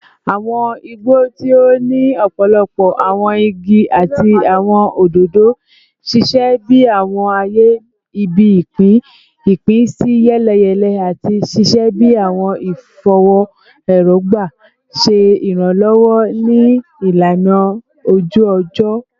Awọn igbo, ti o ni ọpọlọpọ awọn igi ati awọn ododo, ṣiṣẹ bi awọn aaye ibi-ipin ipinsiyeleyele ati ṣiṣẹ bi awọn ifọwọ erogba, ṣe iranlọwọ ni ilana oju-ọjọ